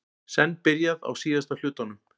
Senn byrjað á síðasta hlutanum